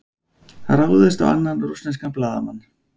Ráðist á annan rússneskan blaðamann